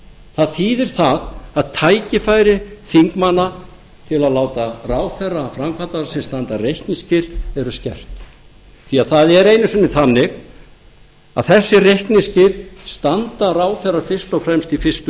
það þýðir það að tækifæri þingmanna til að láta ráðherra framkvæmdarvaldsins standa reikningsskil eru skert því það er einu sinni þannig að þessi reikningsskil standa ráðherrar fyrst og fremst í fyrstu